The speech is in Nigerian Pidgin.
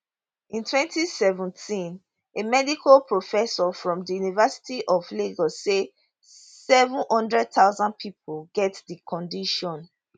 in 2017a medical professor from di university of lagos say 700000 pipo get di condition